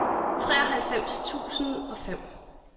treoghalvfems tusind og fem